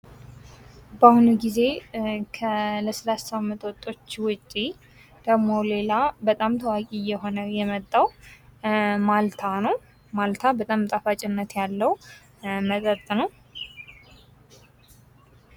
በአሁኑ ጊዜ ከለስላሳ መጠጦች ዉጭ ደግሞ ሌላ ታዋቂ እየሆነ የመጣዉ ማልታ ነዉ። ማልታ በጣም ጣፋጭነት ያለዉ መጠጥ ነዉ።